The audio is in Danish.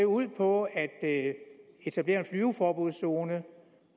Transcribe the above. ud på at etablere en flyveforbudszone